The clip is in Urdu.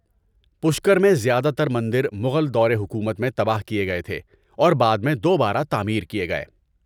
پشکر میں زیادہ تر مندر مغل دور حکومت میں تباہ کیے گئے تھے اور بعد میں دوبارہ تعمیر کیے گئے۔